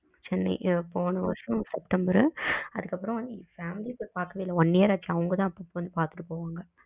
சென்னை போன வருஷம் செப்டபர் அதுக்கு அப்புறம் பாக்கவே இல்ல oneyear ஆச்சு அவங்க தான் அப்போ அப்போ வந்து பாத்துட்டு போறாங்க.